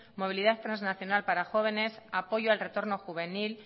movilidad trasnacional para jóvenes apoyo al retorno juvenil